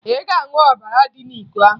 Ị ga-aṅụ ọbara dị n'iko ahụ!